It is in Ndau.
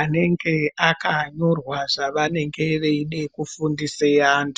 anenge akanyorwa zvavanenge veida kufundisa antu.